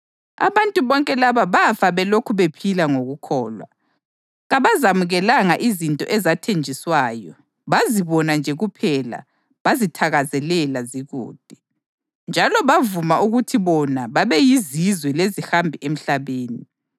Abantu bonke laba bafa belokhu bephila ngokukholwa. Kabazamukelanga izinto ezathenjiswayo; bazibona nje kuphela bazithakazelela zikude. Njalo bavuma ukuthi bona babeyizizwe lezihambi emhlabeni.